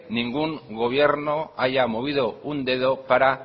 ningún gobierno haya movido un dedo para